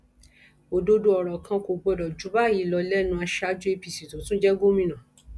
òdodo ọrọ kan kò gbọdọ jù báyìí lọ lẹnu aṣáájú apc tó tún jẹ gómìnà